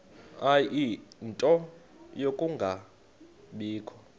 ie nto yokungabikho